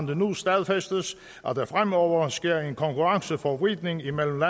det nu stadfæstes at der fremover sker en konkurrenceforvridning imellem